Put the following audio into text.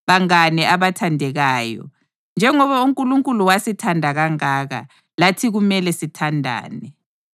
Bangane abathandekayo, njengoba uNkulunkulu wasithanda kangaka, lathi kumele sithandane.